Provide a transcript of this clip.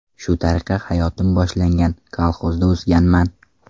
Shu tariqa hayotim boshlangan, kolxozda o‘sganman.